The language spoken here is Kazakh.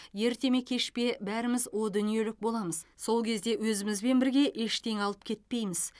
ерте ме кеш пе бәріміз о дүниелік боламыз сол кезде өзімізбен бірге ештеңе алып кетпейміз